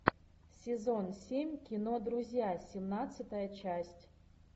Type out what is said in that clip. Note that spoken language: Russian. сезон семь кино друзья семнадцатая часть